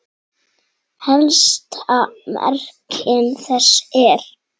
Helsta merking þess er